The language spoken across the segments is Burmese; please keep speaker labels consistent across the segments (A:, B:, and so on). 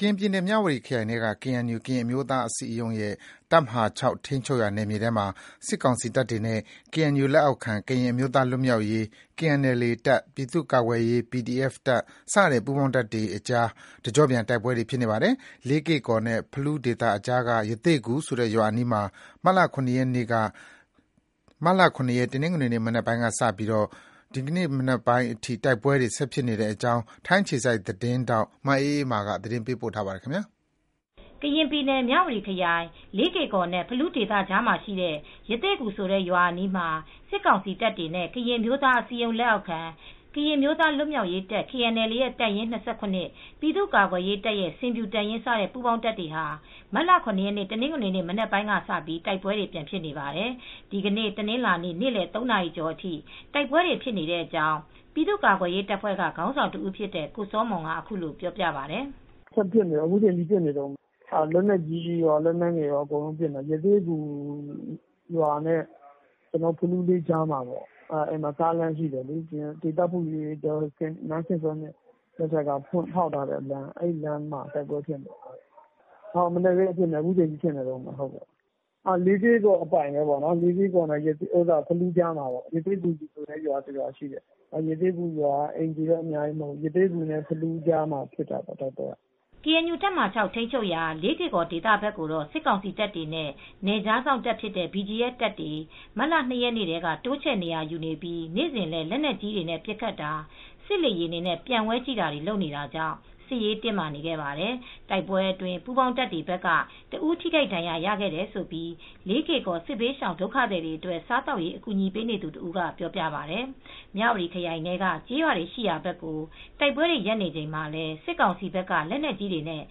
A: ကရင်ပြည်နယ် မြဝတီခရိုင်ထဲက KNU ကရင်အမျိုးသားအစည်းအရုံးရဲ့ တပ်မဟာ ၆ ထိန်းချုပ်နယ်မြေထဲမှာ စစ်ကောင်စီတပ်တွေနဲ့ KNU လက်အောက်ခံ ကရင်အမျိုးသားလွတ်မြောက်ရေး KNLA တပ်၊ ပြည်သူ့ကာကွယ်ရေး PDF တပ် စတဲ့ပူးပေါင်းတပ်တွေကြား တကျော့ပြန် တိုက်ပွဲတွေ ဖြစ်နေပါတယ်။ လေးကေ့ကော်နဲ့ ဖလူးဒေသကြားက ရသေ့ဂူဆိုတဲ့ရွာအနီးမှာ မတ်လ (၇) ရက်နေ့ တနင်္ဂနွေ မနက်ပိုင်းကစပြီး ဒီနေ့ညနေပိုင်းအထိ တိုက်ပွဲတွေဖြစ်နေတဲ့အကြောင်း ထိုင်းအခြေစိုက် ဗွီအိုအေသတင်းထောက် မအေးအေးမာ သတင်းပေးပို့ထားပါတယ်။
B: ကရင်ပြည်နယ် မြဝတီခရိုင် လေးကေ့ကော်နဲ့ ဖလူးဒေသကြားမှာရှိတဲ့ ရသေ့ဂူ ရွာအနီးမှာ စစ်ကောင်စီတပ်တွေနဲ့ ကရင်အမျိုးသားအစည်းအရုံး လက်အောက်ခံ ကရင်အမျိုးသားလွတ်မြောက်ရေးတပ် KNLA ရဲ့တပ်ရင်း (၂၇)၊ ပြည်သူ့ကာကွယ် ရေးတပ်ရဲ့ ဆင်ဖြူတပ်ရင်း စတဲ့ပူးပေါင်းတပ်တွေဟာ မတ်လ (၇) ရက် တနင်္ဂနွေနေ့ မနက်ပိုင်းကစပြီး တိုက်ပွဲတွေပြန်ဖြစ်နေပါတယ်။ ဒီနေ့ တနင်္လာနေ့ နေ့လယ် ၃ နာရီကျော်အထိ တိုက်ပွဲတွေဖြစ်နေတဲ့အကြောင်း ပြည်သူကာကွယ်ရေးတပ်ဖွဲ့က ခေါင်းဆောင်တဦးဖြစ်တဲ့ ကိုစောမွန်က အခုလိုပြောပြပါတယ်။ “ဆက်
C: ဖြစ်နေတယ်။ အခုချိန်ထိပစ်နေတုန်းပါ။ လက်နက်ကြီးကော လက်နက်ငယ်တွေနဲ့ကောပစ်နေတာပါ။ ရသေ့ဂူရွာနားနဲ့ ဖလူးလေးကြားမှာ ကားလမ်းရှိနေတယ်။ ဒေသဖွံ့ဖြိုးရေးအတွက် နန်းခင်ထွေးမြင့်လက်ထက်က ဖောက်ထုတ်ထားတဲ့လမ်းမှာဖြစ်နေတာပါ။ မနက်ခင်းကနေ အခုထိဖြစ်နေတုန်းပါပဲ။ လေးကေ့ကော်အပိုင် ပေါ့ရသေ့ဂူဆိုတဲ့ရွာမှာပါ။ အဲဒီရွာက အိမ်ခြေတော့သိပ်မရှိဘူး။ ရသေ့ဂူနဲ့ ဖလူးကြားမှာ ဖြစ်တာပေါ့။”
B: KNU တပ်မဟာ (၆) ထိန်းချုပ်ရာ လေးကေ့ကော်ဒေသဘက်ကို စစ်ကောင်စီတပ်တွေနဲ့ နယ်ခြားစောင့် BGF တပ်တွေ မတ်လ (၂) ရက်နေ့ထဲက တိုးချဲ့နေရာယူနေပြီး နေ့စဉ်လည်း လက်နက်ကြီးတွေနဲ့ ပစ်ခတ်တာ၊ စစ်လေယာဉ်တွေနဲ့ ပျံဝဲကြည့်တာတွေလုပ်နေတာကြောင့် စစ်ရေးတင်းမာနေခဲ့ပါတယ်။ တိုက်ပွဲအတွင်း ပူးပေါင်းတပ်တွေဘက်က ၁ ဦးထိခိုက်ဒဏ်ရာရခဲ့တယ်လို့ လေးကေ့ကော် စစ်ဘေးဒုက္ခသည်တွေအတွက် စားသောက်ရေး အကူညီပေးနေသူတဦးကပြောပါတယ်။ မြဝတီခရိုင်ထဲက ကျေးရွာတွေရှိရာဘက်ကို တိုက်ပွဲတွေ ရပ်နေချိန်မှာလည်း စစ်ကောင်စီဘက်က လက်နက်ကြီးတွေနဲ့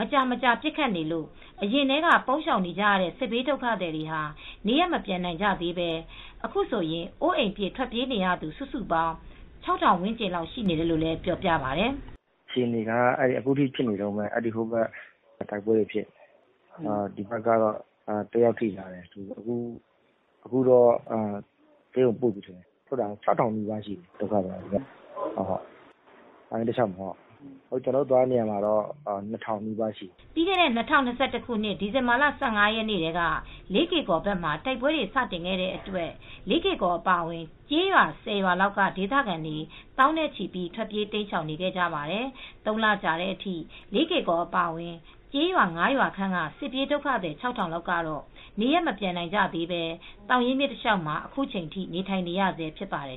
B: မကြာမကြာ ပစ်ခတ်နေလို့ အရင်ကတည်းက ပုန်း ရှောင်နေကြတဲ့ စစ်ဘေးဒုက္ခသည်တွေ နေရပ် မပြန်နိုင်ကြသေးဘဲ အခုဆို အိုးအိမ်ပြစ် ထွက်ပြေးနေရသူ စုစုပေါင်း ၆ ထောင်ဝန်းကျင်လောက်ရှိနေတယ်လို့ ပြောပါတယ်။
C: “အခြေအနေကတော့ အခုထိပစ်ခတ်နေတုန်းပဲ။ ဒီဘက်ကတော့ တယောက်ထိသွားတယ်။ အခုတော့ဆေးရုံပို့နေပြီ။ ဒုက္ခသည်ကတော့ ၆ ထောင်နီးပါးရှိတယ်။ သောင်ရင်းမြစ်တလျှောက်မှာ ကျနော်တို့ထောက်ပံ့ပေးနေတဲ့နေရာမှာတော့လူဦးရေ ၂,၀၀၀ နီးပါးထိရှိတယ်
B: ။” ပြီးခဲ့တဲ့ ၂၀၂၁ ခုနှစ်ဒီဇင်ဘာလ ၁၅ ရက်နေ့ကတည်းက လေးကေ့ကော်ဘက်မှာ တိုက်ပွဲတွေ စတင်ခဲ့တဲ့အတွက် လေးကေ့ကော်အပါအဝင် ကျေးရွာ ၁၀ ရွာလောက်က ဒေသခံ သောင်းနဲ့ချီ ထွက်ပြေးတိမ်းရှောင်ခဲ့ကြပါတယ်။ ၃ လကြာတဲ့အထိ လေးကေ့ကော်အပါအဝင် ကျေးရွာ ၅ ရွာခန့်က စစ်ပြေးဒုက္ခသည် ၆ ထောင်လောက်ကတော့ နေရပ်ကိုမပြန်နိုင်ကြသေးပဲ သောင်ရင်းမြစ်တလျှောက်မှာ အခုချိန်ထိနေထိုင်နေရဆဲဖြစ်ပါတယ်